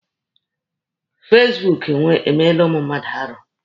Fasibuuku emeela ụmụ mmadụ arụ.